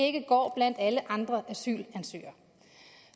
ikke går blandt alle andre asylansøgere